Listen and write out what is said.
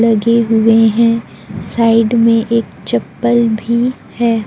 लगे हुए हैं साइड में एक चप्पल भी है।